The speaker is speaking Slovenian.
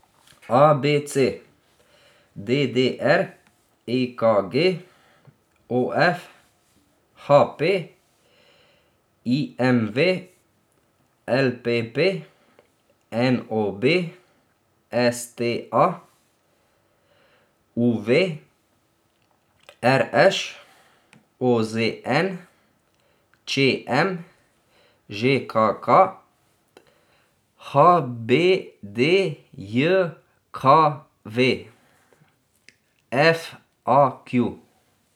A B C; D D R; E K G; O F; H P; I M V; L P P; N O B; S T A; U V; R Š; O Z N; Č M; Ž K K; H B D J K V; F A Q.